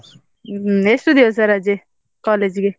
ಹ್ಮ್ ಎಷ್ಟು ದಿವಸ ರಜೆ college ಇಗೆ?